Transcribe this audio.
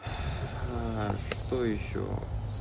а что ещё